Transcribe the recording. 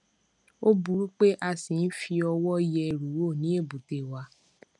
ó burú pé a ṣi ń fi ọwọ yẹ ẹrù wò ní èbúté wa